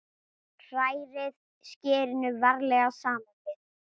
Hrærið skyrinu varlega saman við.